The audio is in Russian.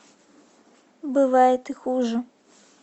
бывает и хуже